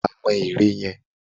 Wà á mọ ère yẹn!